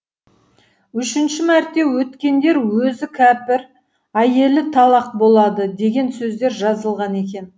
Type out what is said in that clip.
үшінші мәрте өткендер өзі кәпір әйелі талақ болады деген сөздер жазылған екен